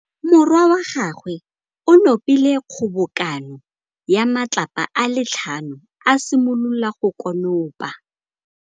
Morwa wa gagwe o nopile kgobokanô ya matlapa a le tlhano, a simolola go konopa.